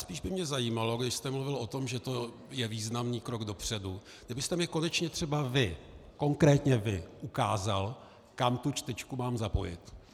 Spíš by mě zajímalo, když jste mluvil o tom, že to je významný krok dopředu, kdybyste mi konečně třeba vy, konkrétně vy ukázal, kam tu čtečku mám zapojit.